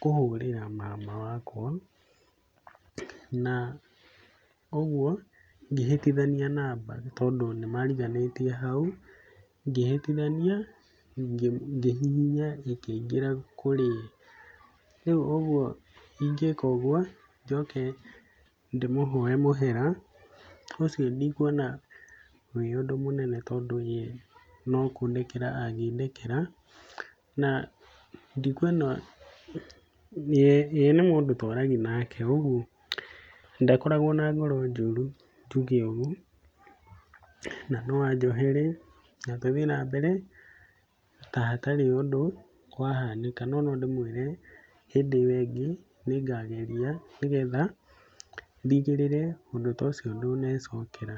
kũhũrĩra mama wakwa, na ũguo ngĩhĩtithania namba tondũ nĩ mariganĩtie hau, ngĩhĩtithania ngĩhihinya ĩkĩingĩra kũrĩwe. Rĩu ũguo ingĩka ũguo, njoke ndĩmũhoye mũhera, ũcio ndikuona wĩũndũ mũnene, tondũ yee nokũndekera angĩndekera, na ndikuona, ye nĩ mũndũ twaragia nake, ũguo ndakoragwo na ngoro njũru, tuge ũguo, na noanjohere, na tũthiĩ nambere tahatarĩ ũndũ wahanĩka. No nondĩmwĩre hĩndĩ ĩyo ĩngĩ nĩngageria, nĩgetha ndigĩrĩre ũndũ ta ũcio ndũnecokera.